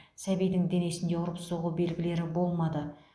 сәбидің денесінде ұрып соғу белгілері болмады